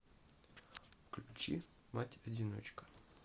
включи мать одиночка